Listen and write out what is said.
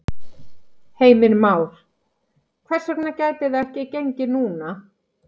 Heimir Már: Hvers vegna gæti það ekki gengið núna?